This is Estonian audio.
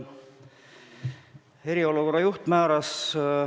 Jah, eriolukorra juht on nii määranud.